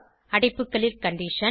அடைப்புகளில் கண்டிஷன்